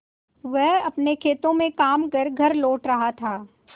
वह अपने खेतों में काम कर घर लौट रहा था